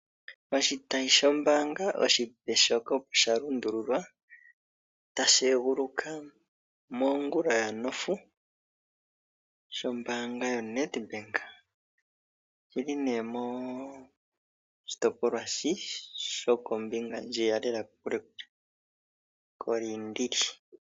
Oshitayi shombaanga oshipe shoka opo shalundililwa tashi eguluka mongula ya nofu sho mbaanga yoNedbank ,oyili nee moshitopolwa shi shoko mbinga ndjiya lela kokule kule ko liindili.